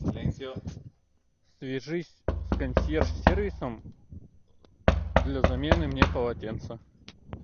свяжись с консьерж сервисом для замены мне полотенца